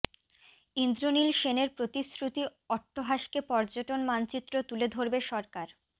ইন্দ্রনীল সেনের প্রতিশ্রুতি অট্টহাসকে পর্যটন মানচিত্র তুলে ধরবে সরকার